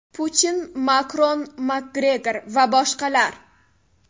Putin, Makron, Makgregor va boshqalar.